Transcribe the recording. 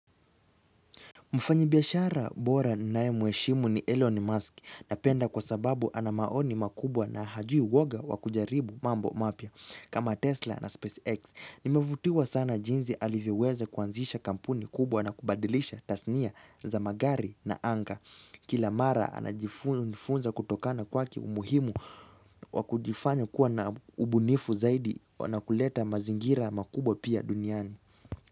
Mfanyibiashara bora ninaye mweshimu ni Elon Musk napenda kwa sababu ana maoni makubwa na hajui woga wa kujaribu mambo mapya kama Tesla na SpaceX. Nimevutiwa sana jinzi alivyoweza kuanzisha kampuni kubwa na kubadilisha tasnia za magari na anga. Kila mara ananifunza kutokana kwake umuhimu wa kujifanya kuwa na ubunifu zaidi na kuleta mazingira makubwa pia duniani.